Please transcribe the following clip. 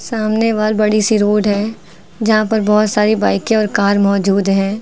सामने बाहर बड़ी सी रोड है जहां पर बहुत सारी बाइके और कार मौजूद है।